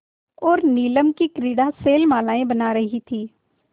और नीलम की क्रीड़ा शैलमालाएँ बन रही थीं